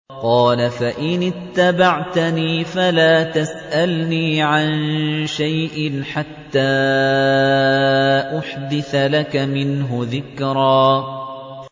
قَالَ فَإِنِ اتَّبَعْتَنِي فَلَا تَسْأَلْنِي عَن شَيْءٍ حَتَّىٰ أُحْدِثَ لَكَ مِنْهُ ذِكْرًا